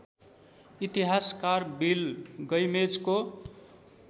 इतिहासकार बिल गैमेजको